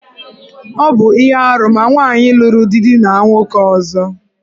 Ọ bu ihe árú ma nwaanyị luru di dina nwoke ọzọ.